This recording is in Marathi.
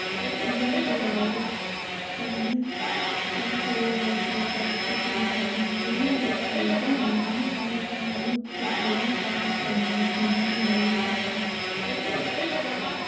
याशिवाय स्थानिक पातळीवरची परिस्थिती बघून जिल्हाधिकारी आणि महापालिका आयुक्त थोड्याफार प्रमाणत निर्बंध घालू शकतात